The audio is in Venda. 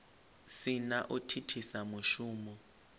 si na u thithisa mushumo